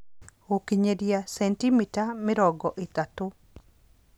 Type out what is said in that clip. Gũkinyĩria sentimita mĩrongo ĩtatũ